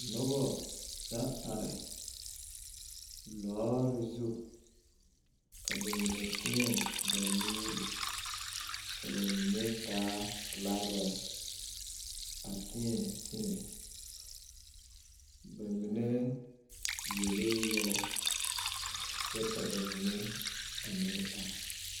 Noba la are lɔɔre zu ka ba mine teɛ ba nuuri ka ba mine taa filagrɛɛ a teɛ teɛ ba mine yelee yɛllɛ kyɛ ka ba mine a meŋ are.